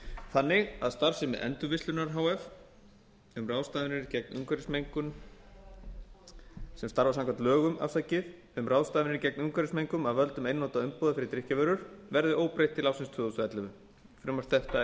þannig að starfsemi endurvinnslunnar h f samanber lög númer fimmtíu og tvö nítján hundruð áttatíu og níu um ráðstafanir gegn umhverfismengun af völdum einnota umbúða fyrir drykkjarvörur verði óbreytt til ársins tvö þúsund og ellefu frumvarp þetta er